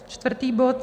Čtvrtý bod.